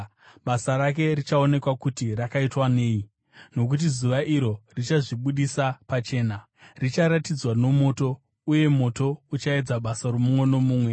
basa rake richaonekwa kuti rakaitwa nei, nokuti Zuva iro richazvibudisa pachena. Richaratidzwa nomoto, uye moto uchaedza basa romumwe nomumwe.